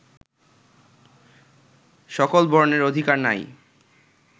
সকল বর্ণের অধিকার নাই